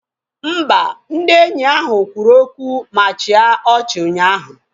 Mba, ndị enyi ahụ kwuru okwu ma chịa ọchị ụnyaahụ